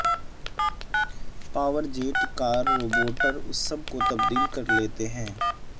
power jet carburettor اس سب کو تبدیل کر لیتے ہیں